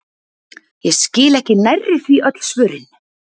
Ég skil ekki nærri því öll svörin!